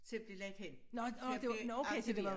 Til at blive lagt hen til at blive arkiveret